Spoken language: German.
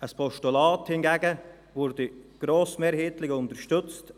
Ein Postulat hingegen würde grossmehrheitlich unterstützt.